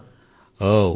ని ఎంచుకున్నాను